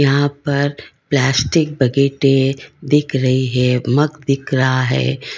यहां पर plastic bucket है बिक रहे है मग बिक रहा है।